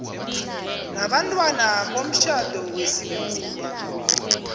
nabantwana bomtjhado wesikhuwa